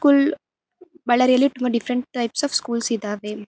School Bellary ಯಲ್ಲಿ two different type of schools ಇದಾವೆ.